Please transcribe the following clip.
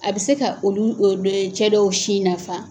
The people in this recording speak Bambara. A bɛ se ka olu o dee cɛ dɔw sin nafa.